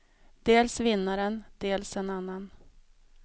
Dels vinnaren, dels en annan.